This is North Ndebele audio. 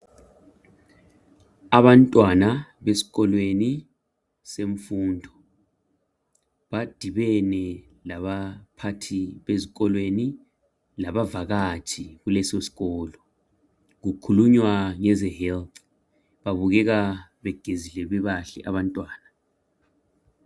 Abantwana besikolweni semfundo. Badibene labaphathi bezikolweni labavakatshi kulesosikolo. Kukhulunywa ngeze health. Babukeka begezile bebahle abantwana.